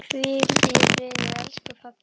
Hvíl í friði, elsku pabbi.